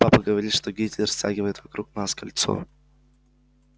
папа говорит что гитлер стягивает вокруг нас кольцо